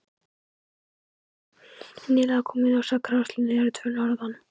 Nýlega kom í ljós að grágrýtislögin eru tvö norðan